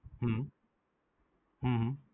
હમ હમ